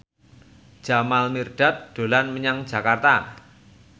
Jamal Mirdad dolan menyang Jakarta